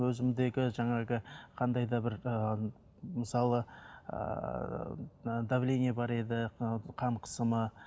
өзімдегі жаңағы қандай да бір ыыы мысалы ыыы давление бар еді ыыы қан қысымы